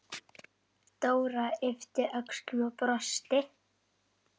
Dóra yppti öxlum og brosti.